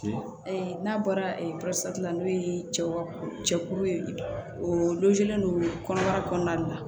n'a bɔra la n'o ye cɛkulu ye o don kɔnɔbara kɔnɔna la